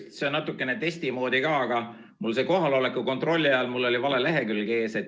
See kõik on natukene testi moodi ka ja mul oli kohaloleku kontrolli ajal vale lehekülg ees.